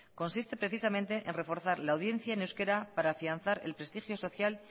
consiste precisamente en reforzar la audiencia en euskera para afianzar el prestigio social